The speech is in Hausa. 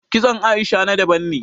Kitson Aisha na daban ne